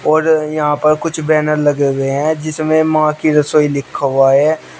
और यहां पर कुछ बैनर लगे हुए हैं जिसमें मां की रसोई लिखा हुआ है।